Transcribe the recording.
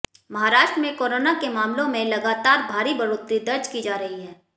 महाराष्ट्र में कोरोना के मामलों में लगातार भारी बढ़ोतरी दर्ज की जा रही है